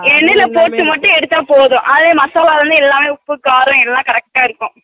எண்ணைல போட்டு மட்டு எடுத்தா போதும் அதே மத்தது எல்லாமே உப்பு காரம் எல்லா correct டா இருக்கும்